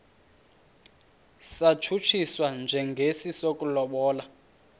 satshutshiswa njengesi sokulobola